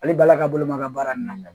Ale bala ka bolo ma ka baara nin na